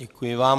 Děkuji vám.